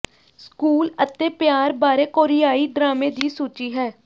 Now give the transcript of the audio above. school ਅਤੇ ਪਿਆਰ ਬਾਰੇ ਕੋਰੀਆਈ ਡਰਾਮੇ ਦੀ ਸੂਚੀ ਹੈ